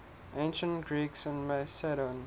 ancient greeks in macedon